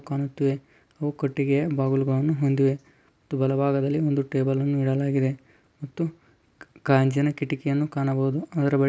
ಕಾಣುತ್ತಿವೆ ಅವು ಕಟ್ಟಿಗೆಯ ಬಾಗಿಲುಗಳನ್ನು ಹೊಂದಿವೆ . ಬಲಭಾಗದಲ್ಲಿ ಒಂದು ಟೇಬಲ್ ಅನ್ನು ಇಡಲಾಗಿದೆ .ಮತ್ತು ಕಾಜಿನ ಕಿಟಕಿಗಳನ್ನು ಕಾಣಬಹುದು ಅದರಲ್ಲಿ --